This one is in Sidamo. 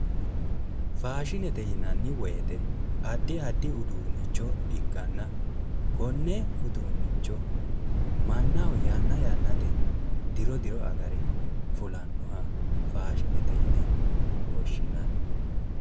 Faashinete yinanni woyite addi addi uduunnicho ikkanna konne uduunnicho mannaho tanna yannatenni diro diro agare fulannoha faashinete yine woshshinanni.